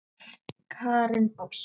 Karen Ósk.